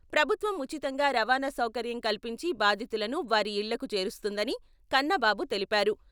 ప్రభుత్వం ఉచితంగా రవాణా సౌకర్యం కల్పించి బాధితులను వారి ఇళ్లకు చేరుస్తుందని కన్నాబాబు తెలిపారు.